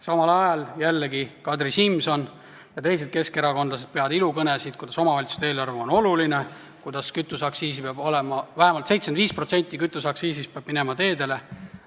Samal ajal peavad Kadri Simson ja teised keskerakondlased ilukõnesid, et omavalitsuste eelarve on oluline ja et vähemalt 75% kütuseaktsiisist peab minema teedele.